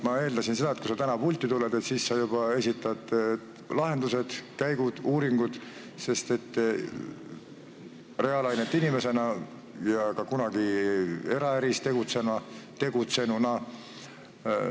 Ma eeldasin seda, et kui sa täna pulti tuled, siis sa reaalainete inimesena ja kunagi eraäris tegutsenuna juba esitad lahendused, käigud, uuringud.